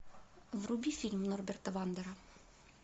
вруби фильм норберта вандера